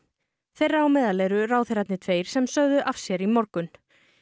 þeirra á meðal eru ráðherrarnir tveir sem sögðu af sér í morgun